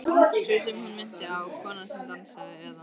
Sú sem hún minnti á, konan sem dansaði, eða.